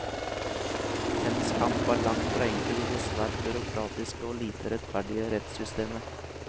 Hennes kamp er langt fra enkel i det svært byråkratiske og lite rettferdige rettssystemet.